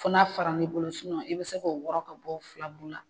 Fo n'a faran'i bolo i bɛ se k'o wɔrɔ ka bɔ filaburu la.